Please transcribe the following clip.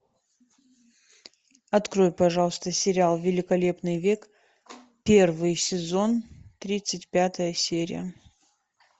открой пожалуйста сериал великолепный век первый сезон тридцать пятая серия